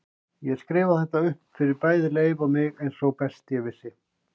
Ég skrifaði þetta upp fyrir bæði Leif og mig eins og best ég vissi.